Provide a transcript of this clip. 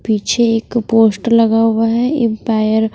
पीछे एक पोस्टर लगा हुआ हैं एंपायर --